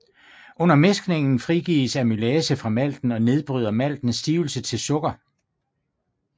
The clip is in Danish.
Under mæskningen frigives amylase fra malten og nedbryder maltens stivelse til sukker